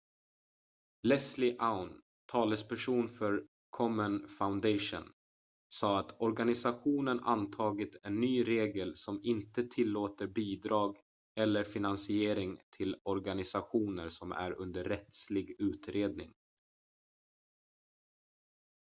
leslie aun talesperson för komen foundation sa att organisationen antagit en ny regel som inte tillåter bidrag eller finansiering till organisationer som är under rättslig utredning